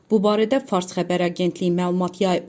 Bu barədə Fars xəbər agentliyi məlumat yayıb.